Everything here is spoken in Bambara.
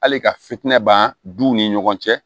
Hali ka fitinɛ ban duw ni ɲɔgɔn cɛ